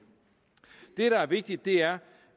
det der er vigtigt er